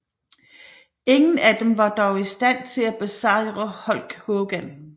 Ingen af dem var dog i stand til at besejre Hulk Hogan